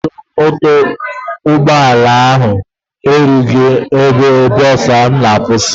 Ajọ ọkwọ ụgbọ ala ahụ eruteghị ebe bọs m na-akwụsị.